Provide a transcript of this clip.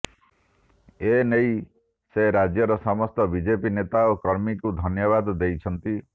ଏନେଇ ସେ ରାଜ୍ୟର ସମସ୍ତ ବିଜେପି ନେତା ଓ କର୍ମୀଙ୍କୁ ଧନ୍ୟବାଦ ଦେଇଛନ୍ତି